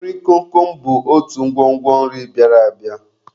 Nri komkom bụ otu ngwongwo nri bịara abịa.